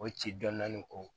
O ci dɔɔnin dɔɔnin ko